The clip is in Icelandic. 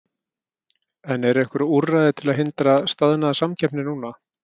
En eru einhver úrræði til að hindra staðnaða samkeppni núna?